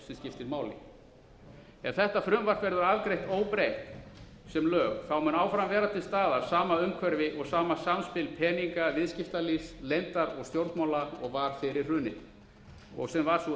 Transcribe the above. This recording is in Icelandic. sem skiptir máli ef þetta frumvarp verður afgreitt óbreytt sem lög þá mun áfram vera til staðar sama umhverfi og sama samspil peninga viðskiptalífs leyndar og stjórnmála og var fyrir hrunið og sem var sú